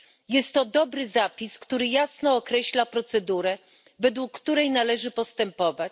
Jest to dobry zapis, który jasno określa procedurę, według której należy postępować.